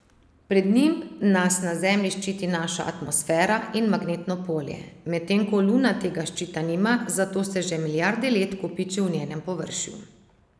Pred njim nas na Zemlji ščiti naša atmosfera in magnetno polje, medtem ko Luna tega ščita nima, zato se že milijarde let kopiči v njenem površju.